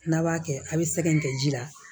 N'a b'a kɛ a bɛ sɛgɛn kɛ ji la